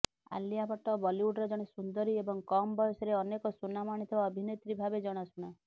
ଆଲିଆ ଭଟ୍ଟ ବଲିଉଡର ଜଣେ ସୁନ୍ଦରୀ ଏବଂ କମ୍ ବୟସରେ ଅନେକ ସୁନାମ ଆଣିଥିବା ଅଭିନେତ୍ରୀ ଭାବେ ଜଣାଶୁଣା